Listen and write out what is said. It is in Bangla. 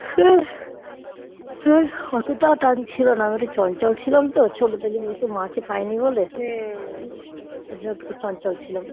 হ্যাঁ অতটা টান ছিল না আমি একটু চঞ্চল ছিলাম তো ছোট থেকেই মাকে পাইনি বলে ওর জন্য একটু চঞ্চল ছিলাম